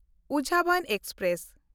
ᱩᱡᱷᱟᱵᱚᱱ express